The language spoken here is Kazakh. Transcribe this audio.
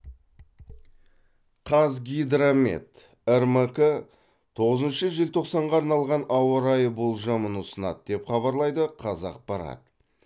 қазгидромет рмк тоғызыншы желтоқсанға арналған ауа райы болжамын ұсынады деп хабарлайды қазақпарат